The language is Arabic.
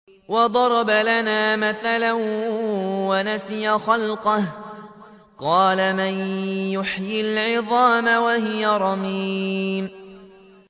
وَضَرَبَ لَنَا مَثَلًا وَنَسِيَ خَلْقَهُ ۖ قَالَ مَن يُحْيِي الْعِظَامَ وَهِيَ رَمِيمٌ